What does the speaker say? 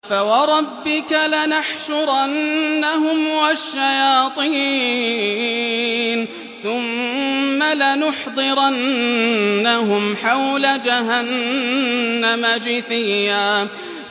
فَوَرَبِّكَ لَنَحْشُرَنَّهُمْ وَالشَّيَاطِينَ ثُمَّ لَنُحْضِرَنَّهُمْ حَوْلَ جَهَنَّمَ جِثِيًّا